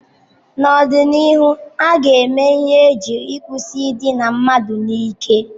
N'ọdịnihu, a ga-eme ihe iji kwụsị idina mmadụ n'ike.